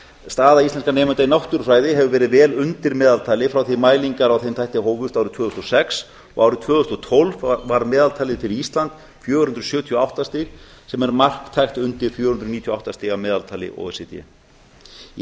staða íslenskra nemenda í náttúrufræði hefur verið vel undir meðaltali frá því að mælingar á þeim þætti hófust árið tvö þúsund og sex og árið tvö þúsund og tólf var meðaltalið fyrir ísland fjögur hundruð sjötíu og átta stig sem er marktækt undir fjögur hundruð níutíu og átta stiga meðaltali o e c d í